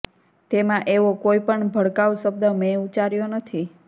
તેમાં એવો કોઈ પણ ભડકાઉ શબ્દ મેં ઉચ્ચાર્યો નથી